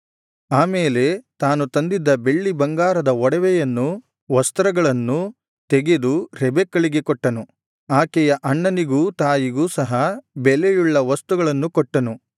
ಆ ಮೇಲೆ ತಾನು ತಂದಿದ್ದ ಬೆಳ್ಳಿ ಬಂಗಾರದ ಒಡವೆಗಳನ್ನೂ ವಸ್ತ್ರಗಳನ್ನೂ ತೆಗೆದು ರೆಬೆಕ್ಕಳಿಗೆ ಕೊಟ್ಟನು ಆಕೆಯ ಅಣ್ಣನಿಗೂ ತಾಯಿಗೂ ಸಹ ಬೆಲೆಯುಳ್ಳ ವಸ್ತುಗಳನ್ನು ಕೊಟ್ಟನು